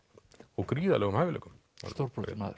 og gríðarlegum hæfileikum stórbrotinn maður